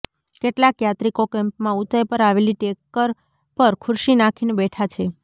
કેટલાક યાત્રિકો કેમ્પમાં ઊંચાઈ પર આવેલી ટેકર પર ખુરશી નાખીને બેઠા છે